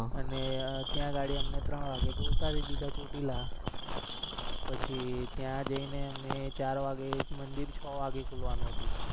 અને ત્યાં ગાડી અને ત્રણ વાગે તો ઉતારી દીધા. ચોટીલા પછી ત્યાં જઈ ને અમે ચાર વાગે. મંદિર છ વાગે ખોલવા નું હતુ